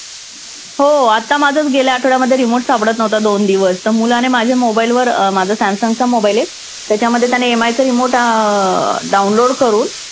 हो आत्ता माझाच गेल्या आठवड्यामध्ये remote सापडत नव्हता दोन दिवस. तर मुलाने माझ्या mobile वर अं माझा सॅमसंगचा mobile आहे त्याच्यामध्ये त्याने MI चा remote अं download करून